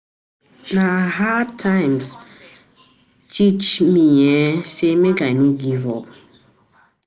um Na hard times teach um me um sey make I no give up.